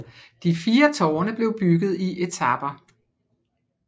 De fire tårne blev bygget i etaper